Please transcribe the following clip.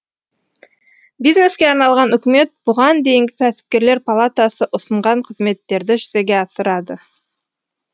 бизнеске арналған үкімет бұған дейінгі кәсіпкерлер палатасы ұсынған қызметтерді жүзеге асырады